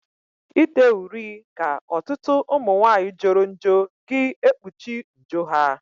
Ide uri ka ọtụtụ umunwaanyi joro njo gị ekpuchi njo ha.